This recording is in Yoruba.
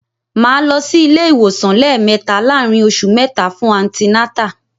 Màá lọ sí ilé-ìwòsàn lẹ́ẹ̀mẹta láàárín oṣù mẹ́ta fún antinátà